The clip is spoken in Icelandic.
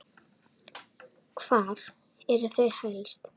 Hvar eru þau helst?